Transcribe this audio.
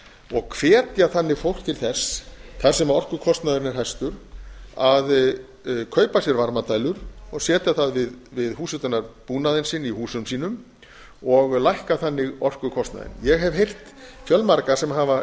og hvetja þannig fólk til þess þar sem orkukostnaðurinn er hæstur að kaupa sér varmadælur og setja það við húshitunarbúnaðinn sinn í húsum sínum og lækka þannig orkukostnaðinn ég hef heyrt fjölmarga sem hafa